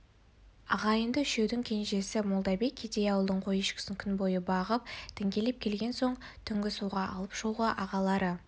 ағайынды үшеудің кенжесі молдабек кедей ауылдың қой-ешкісін күн бойы бағып діңкелеп келген соң түнгі суға алып шығуға ағалары